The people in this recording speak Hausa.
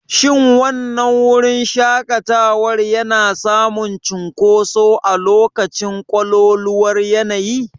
Shin wannan wurin shaƙatawa yana samun cunkoso a lokacin ƙololuwar yanayi?